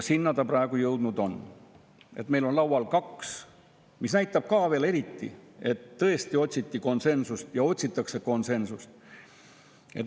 Sinna ta praegu jõudnud on, et meil on laual kaks, mis näitab eriti, et tõesti otsiti konsensust ja otsitakse konsensust.